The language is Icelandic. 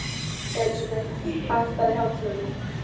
Elísabeth, lækkaðu í hátalaranum.